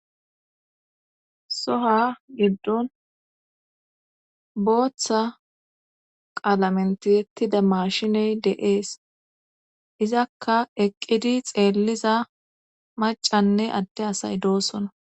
soha giddon booththa qaalamen tiyettida mashiney de'ees izakka eqqidi xeelliza macanne adde asay doosona